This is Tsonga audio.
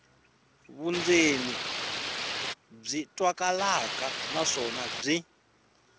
vundzeni byi twakalaka naswona byi